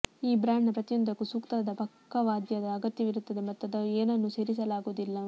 ಈ ಬ್ರಾಂಡ್ನ ಪ್ರತಿಯೊಂದಕ್ಕೂ ಸೂಕ್ತವಾದ ಪಕ್ಕವಾದ್ಯದ ಅಗತ್ಯವಿರುತ್ತದೆ ಮತ್ತು ಅದನ್ನು ಏನನ್ನೂ ಸೇರಿಸಲಾಗುವುದಿಲ್ಲ